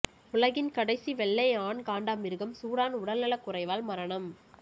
உலகின் கடைசி வெள்ளை ஆண் காண்டாமிருகம் சூடான் உடல்நலக் குறைவால் மரணம்